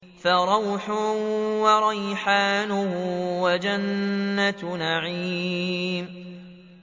فَرَوْحٌ وَرَيْحَانٌ وَجَنَّتُ نَعِيمٍ